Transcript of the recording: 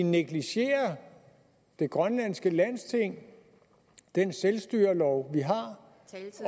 negligerer det grønlandske landsting og den selvstyrelov vi har